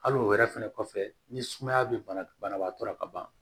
Hali o wɛrɛ fɛnɛ kɔfɛ ni sumaya be bana banabaatɔ la ka ban